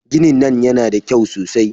Ginin nan yana da kyau sosai.